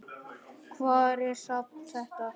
Hvar er safn þetta?